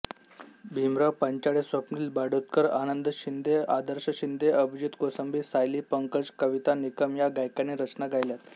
भीमराव पांचाळेस्वप्निल बांदोडकरआनंद शिंदेआदर्श शिंदेअभिजीत कोसंबी सायली पंकज कविता निकम या गायकांनी रचना गायल्यात